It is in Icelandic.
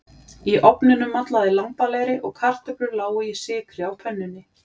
Í ofninum mallaði lambalæri og kartöflur lágu í sykri á pönnunni.